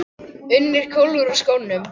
UNNUR: Hann hvolfir úr skónum.